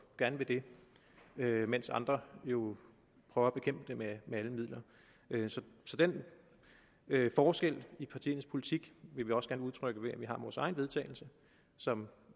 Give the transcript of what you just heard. gerne ved det mens andre jo prøver at bekæmpe det med alle midler så den forskel i partiernes politik vil vi også gerne udtrykke ved at vi har vores eget vedtagelse som